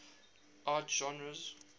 art genres